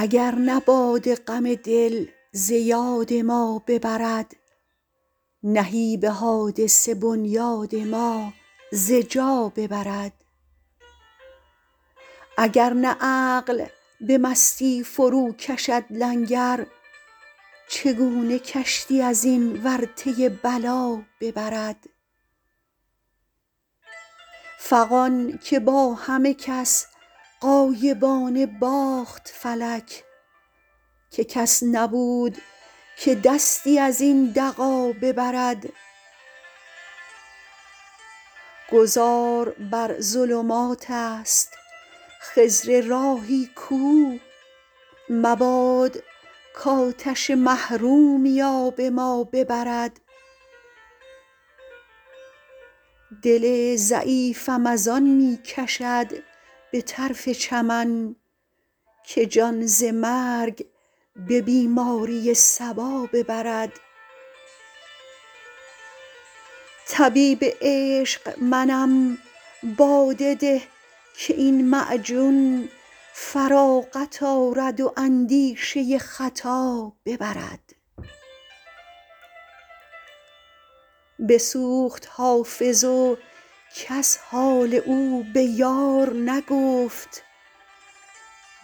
اگر نه باده غم دل ز یاد ما ببرد نهیب حادثه بنیاد ما ز جا ببرد اگر نه عقل به مستی فروکشد لنگر چگونه کشتی از این ورطه بلا ببرد فغان که با همه کس غایبانه باخت فلک که کس نبود که دستی از این دغا ببرد گذار بر ظلمات است خضر راهی کو مباد کآتش محرومی آب ما ببرد دل ضعیفم از آن می کشد به طرف چمن که جان ز مرگ به بیماری صبا ببرد طبیب عشق منم باده ده که این معجون فراغت آرد و اندیشه خطا ببرد بسوخت حافظ و کس حال او به یار نگفت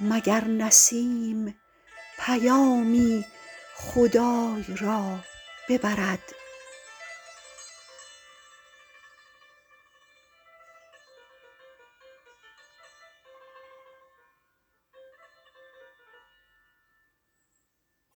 مگر نسیم پیامی خدای را ببرد